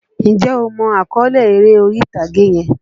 Njẹ́ o mọ àkọ́lé eré orí-ìtàgé yẹn?